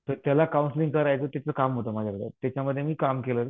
तर त्याला कौन्सलिंग करायचं तिचं काम होतं माझ्याकडं. त्याच्यामध्ये मी काम केलं.